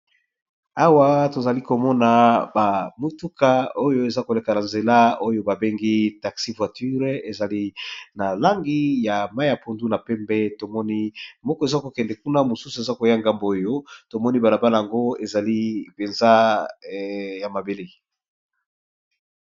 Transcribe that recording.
Awa tozali komona ba motuka oyo eza koleka na nzela oyo ba bengi taxi voiture, ezali na langi ya mai ya pundu, na pembe, tomoni moko eza kokende kuna, mosusu eza koya ngambu oyo, tomoni balabala yango ezali mpenza ya mabele.